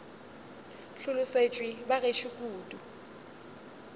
hlolosetšwe ba gešo kudu ke